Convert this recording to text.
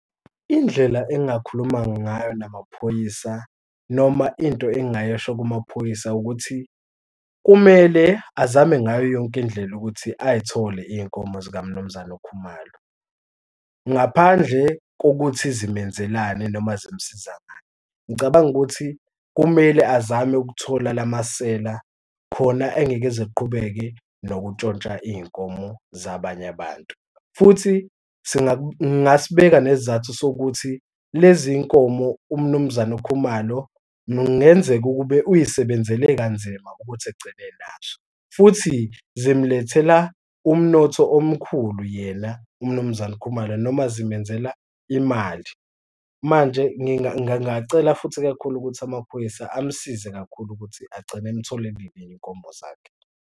Indlela engingakhuluma ngayo namaphoyisa noma into engingayisho kumaphoyisa ukuthi kumele azame ngayo yonke indlela ukuthi ay'thole iy'nkomo zikamaMnumzane uKhumalo, ngaphandle kokuthi zimenzelani noma zimsiza ngani. Ngicabanga ukuthi kumele azame ukuthola la masela khona engeke eze eqhubeke nokuntshontsha iy'nkomo zabanye abantu. Futhi ngingasibeka nesizathu sokuthi lezi y'nkomo uMnumzane uKhumalo kungenzeka ukube uyisebenzele kanzima ukuthi ekugcine enazo, futhi zimulethela umnotho omkhulu yena uMnumzane uKhumalo noma zimenzela imali manje ngingacela futhi kakhulu ukuthi amaphoyisa amsize kakhulu ukuthi agcine emtholelile iy'nkomo zakhe.